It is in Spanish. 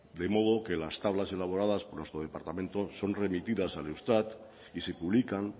de modo que las tablas elaboradas por nuestro departamento son remitidas al eustat y se publican